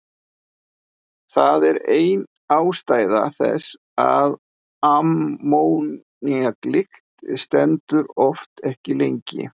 Það er ein ástæða þess að ammóníaklykt stendur oft ekki lengi.